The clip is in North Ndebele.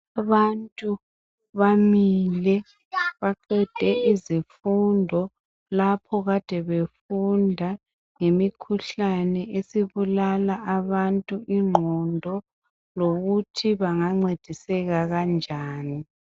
Abantu bamile baqede izifundo lapho kade befunda ngemikhuhlane esibulala abantu ingqondo lokuthi bengancediseka kanjani.